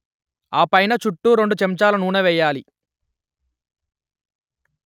ఆ పైన చుట్టూ రెండు చెంచాలు నూనె వెయ్యాలి